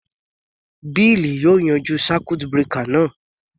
Bill yóò yanjú circuit breaker náà.